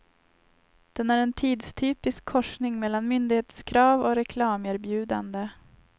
Den är en tidstypisk korsning mellan myndighetskrav och reklamerbjudande.